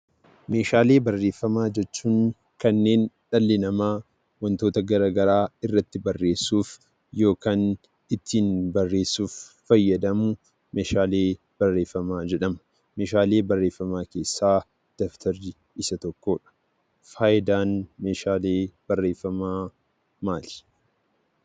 Meeshaalee barreeffamaa jechuun kanneen dhalli namaa wantoota garaagaraa irratti barreessuuf yokaan ittiin barreessuf fayyadamu meeshaalee barreeffamaa jedhama. Meeshaalee barreeffamaa keessaa daftarri isa tokkodha. Faayidaan meeshaalee barreeffamaa maali?